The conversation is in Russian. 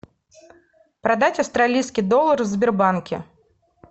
продать австралийский доллар в сбербанке